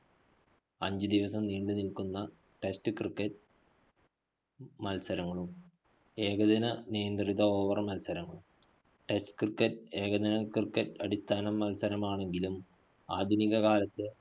അഞ്ച് ദിവസം നീണ്ടുനില്‍ക്കുന്ന test cricket മത്സരങ്ങളും ഏകദിന നിയന്ത്രിത over മത്സരങ്ങളും. test cricket ഏകദിന cricket അടിസ്ഥാന മത്സരമാണെങ്കിലും ആധുനിക കാലത്ത്